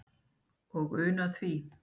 og unna því